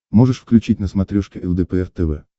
можешь включить на смотрешке лдпр тв